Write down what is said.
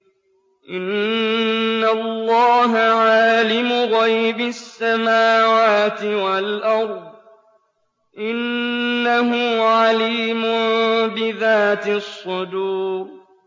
إِنَّ اللَّهَ عَالِمُ غَيْبِ السَّمَاوَاتِ وَالْأَرْضِ ۚ إِنَّهُ عَلِيمٌ بِذَاتِ الصُّدُورِ